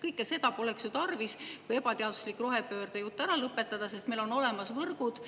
Kõike seda poleks ju tarvis, kui ebateaduslik rohepöördejutt ära lõpetada, sest meil on võrgud olemas.